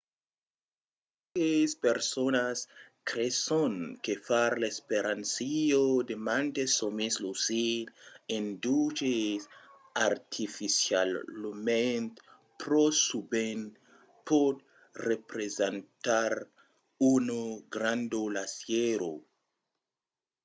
qualques personas creson que far l'experiéncia de mantes sòmis lucids induches artificialament pro sovent pòt representar una granda lassièra